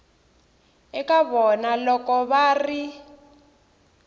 eka vana loko va ri